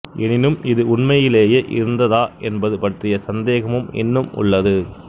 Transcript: எனினும் இது உண்மையிலேயே இருந்ததா என்பது பற்றிய சந்தேகமும் இன்னும் உள்ளது